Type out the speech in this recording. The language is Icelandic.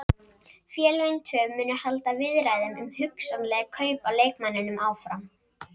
Félögin tvö munu halda viðræðum um hugsanleg kaup á leikmanninum áfram.